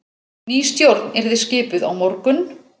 Ný stjórn yrði skipuð á morgun